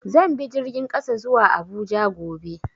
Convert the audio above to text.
Zan bi jirgin ƙasa zuwa Abuja gobe.